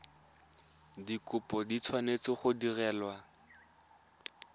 dikopo di tshwanetse go direlwa